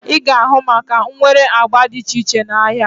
Ị ga-ahụ maaka nwere agba dị iche iche n'ahia